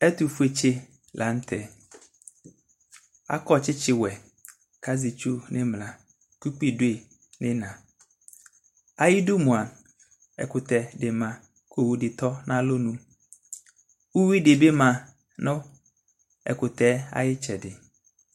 Ɛtʋfuetsi lanʋtɛ akɔ tsitsiwɛ kʋ azɛ itsʋ nʋ imla kʋ ʋkpi dʋi nʋ iina ayidʋ mʋa ɛkʋtɛdi ma kʋ owʋdi tɔ nʋ alɔnʋ ʋwidi bi ma nʋ ɛkʋtɛ ayʋ itsɛdi